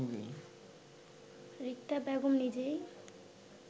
রিক্তা বেগম নিজেই